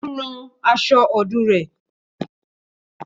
Ó ń ran aṣọ ọdún rẹ